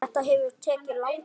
Þetta hefur tekið langan tíma.